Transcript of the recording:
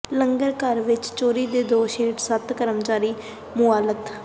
ਲੰਗਰ ਘਰ ਵਿੱਚ ਚੋਰੀ ਦੇ ਦੋਸ਼ ਹੇਠ ਸੱਤ ਕਰਮਚਾਰੀ ਮੁਅੱਤਲ